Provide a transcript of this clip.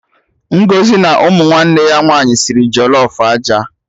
Ngọzi na ụmụ nwanne ya nwaanyị sịrị jollof aja